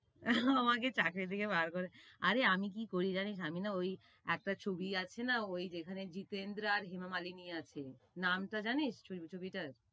ও আমাকে চাকরি থেকে বার করে~ আরে আমি কি করি জানিস, আমি না ঐ একটা ছবি আছে না ওই যেখানে জিতেন্দ্রা আর ইমাম আলী নিয়ে আছে, নামটা জানিস ওই ছবিটার?